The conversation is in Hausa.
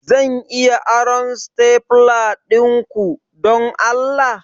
Zan iya aron stapler dinku, don Allah?